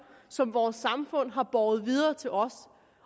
som vores samfund har båret videre til os